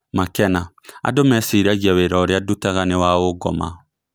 Makena"Andũ meciragia wĩra ũrĩa ndutaga niwaũngoma"